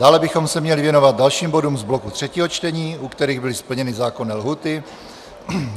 Dále bychom se měli věnovat dalším bodům z bloku třetího čtení, u kterých byly splněny zákonné lhůty.